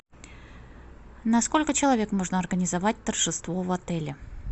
на сколько человек можно организовать торжество в отеле